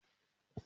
Mo máa ra rúlà.